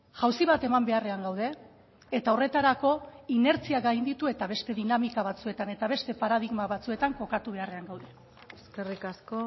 jauzi bat eman beharrean gaude eta horretarako inertzia gainditu eta beste dinamika batzuetan eta beste paradigma batzuetan kokatu beharrean gaude eskerrik asko